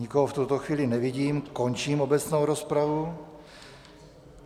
Nikoho v tuto chvíli nevidím, končím obecnou rozpravu.